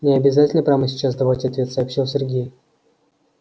не обязательно прямо сейчас давать ответ сообщил сергей